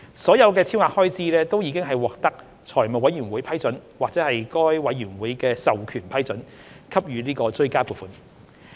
所有超額開支均已獲得財務委員會批准或該委員會授權批准，給予追加撥款。